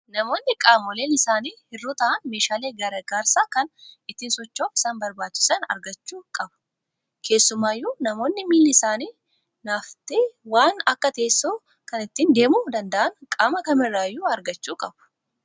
Namoonni qaamoleen isaanii hir'uu ta'an meeshaalee gargaarsaa kan ittiin socho'uuf isaan barbaachisan argachuu qabu. Keessumaayyuu namoonni miilli isaanii naafate waan akka teessoo kan ittiin deemuu danda'an qaama kamirraayyuu argachuu qabu.